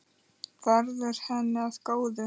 Verði henni að góðu.